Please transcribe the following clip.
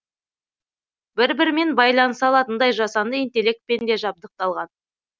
бір бірімен байланыса алатындай жасанды интелектпен де жабдықталған